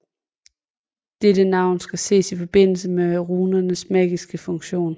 Dette navn skal ses i forbindelse med runernes magiske funktion